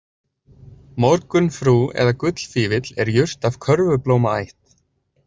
Morgunfrú eða gullfífill er jurt af körfublómaætt.